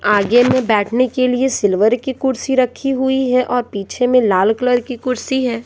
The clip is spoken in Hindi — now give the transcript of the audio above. आगे में बैठने के लिए सिल्वर की कुर्सी रखी हुई है और पीछे में लाल कलर की कुर्सी है।